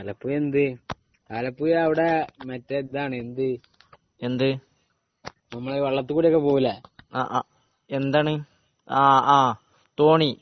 എന്ത്, ആലപ്പുഴ അവിടെ മറ്റേ ഇതാണ് നമ്മൾ വെള്ളത്തിൽകൂടിയൊക്കെ പോവൂലെ , എന്താണ് തോണി